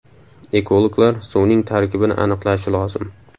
Ekologlar suvning tarkibini aniqlashi lozim.